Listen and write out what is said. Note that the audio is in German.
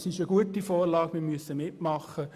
Es ist eine gute Vorlage, und wir müssen da mitmachen.